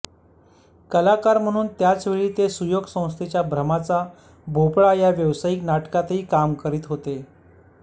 कलाकार म्हणून त्याचवेळी ते सुयोग संस्थेच्या भ्रमाचा भोपळा या व्यावसायिक नाटकातही काम करीत होते